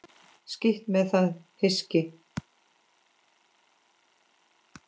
Skítt með það hyski.